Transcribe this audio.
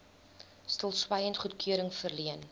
stilswyend goedkeuring verleen